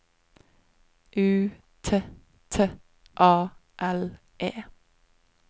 U T T A L E